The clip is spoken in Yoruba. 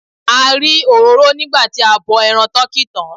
A rí òróró nígbà tí a bọ ẹran tọkí tán.